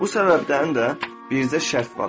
Bu səbəbdən də bircə şərt var.